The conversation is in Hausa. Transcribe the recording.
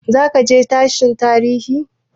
Zaka je sashen tarihi?